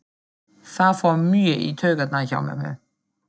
Það fór mjög í taugarnar á mömmu.